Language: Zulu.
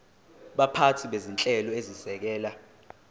baphathi bezinhlelo ezisekela